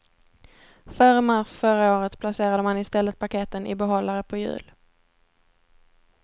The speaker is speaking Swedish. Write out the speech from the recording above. Före mars förra året placerade man i stället paketen i behållare på hjul.